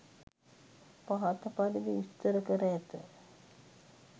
පහත පරිදි විස්තර කර ඇත